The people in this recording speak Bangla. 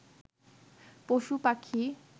পশুপাখি